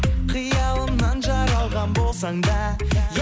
қиялымнан жаралған болсаң да